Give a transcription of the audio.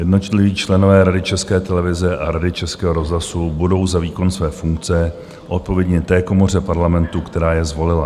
Jednotliví členové Rady České televize a Rady Českého rozhlasu budou za výkon své funkce odpovědní té komoře Parlamentu, která je zvolila.